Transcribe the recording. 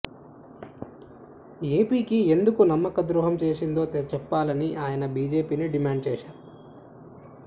ఏపీకి ఎందుకు నమ్మకద్రోహం చేసిందో చెప్పాలని ఆయన బీజేపీని డిమాండ్ చేశారు